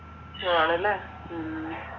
ആണല്ലെ ഉം